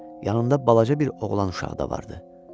Yanında balaca bir oğlan uşağı da vardı.